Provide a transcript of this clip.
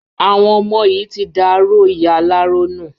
Àwọn ọmọ yìí ti da aró ìyá aláró nù.